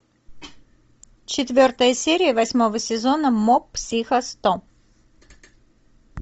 четвертая серия восьмого сезона моб психо сто